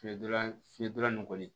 Fiɲɛdonlan fiyelan nin koli